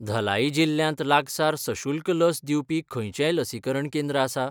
धलाई जिल्ल्यांत लागसार सशुल्क लस दिवपी खंयचेंय लसीकरण केंद्र आसा?